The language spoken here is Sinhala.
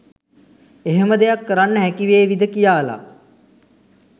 එහෙම දෙයක් කරන්න හැකිවේවිද කියාලා